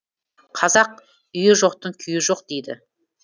қазақ үйі жоқтың күйі жоқ дейді